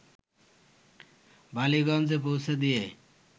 বালিগঞ্জে পৌঁছে দিয়ে